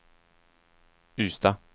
Ystad